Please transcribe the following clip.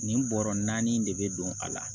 Nin bɔrɔ naani in de bɛ don a la